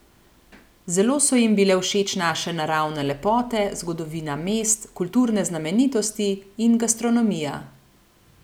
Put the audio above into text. Zelo so jim bile všeč naše naravne lepote, zgodovina mest, kulturne znamenitosti in gastronomija.